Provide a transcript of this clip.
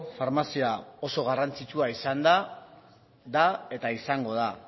farmazia oso garrantzitsua izan da da eta izango da